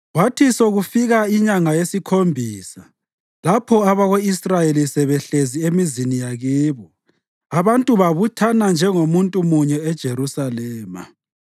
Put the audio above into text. Kwathi sekufika inyanga yesikhombisa, lapho abako-Israyeli sebehlezi emizini yakibo, abantu babuthana njengomuntu munye eJerusalema.